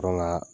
Dɔrɔn ka